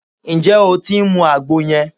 Ǹjẹ́ o tí ń mu àgbo yẹn?